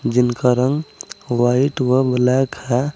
जिनका रंग व्हाइट व ब्लैक है।